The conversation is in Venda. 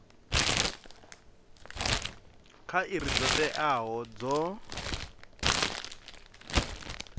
kha iri dzo teaho dzo